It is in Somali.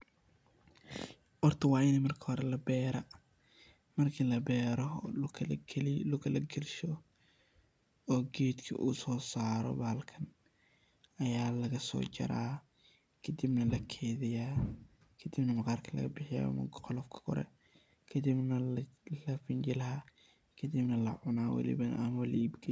Horta wa ina marki hore la beera, marki la beero o duulka la gaalsho oo gedgi u so saaro bahalkan, ayaa laga so jaaraa, kadib naa la geydiiyaa kadib naa maqaarka laga bixiiya marku qolofka kore, kadib na la fiinjiilaa, kadibna lacuna kadib waliba la iib geeya.